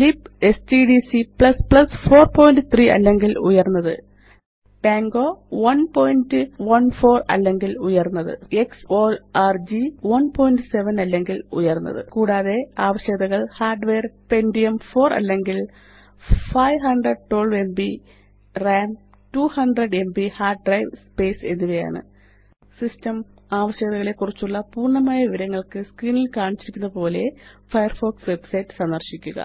libstdc 43 അല്ലെങ്കില് ഉയര്ന്നത് Pango 114 അല്ലെങ്കില് ഉയര്ന്നത് xഓർഗ് 17 അല്ലെങ്കില് ഉയര്ന്നത് കൂടാതെ ആവശ്യകതകള് ഹാർഡ്വെയർ പെന്റിയം 4 അല്ലെങ്കില് 512എംബി റാം 200എംബി ഹാർഡ് ഡ്രൈവ് സ്പേസ് എന്നിവയാണ് സിസ്റ്റം ആവശ്യകതകളെക്കുറിച്ചുള്ള പൂര്ണ്ണമായ വിവരങ്ങള്ക്ക് സ്ക്രീനില് കാണിച്ചിരിക്കുന്നതുപോലെ ഫയർഫോക്സ് വെബ്സൈറ്റ് സന്ദര്ശിക്കുക